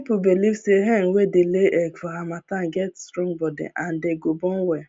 people belive say hen wey dey lay egg for harmattan get strong body and dey go born well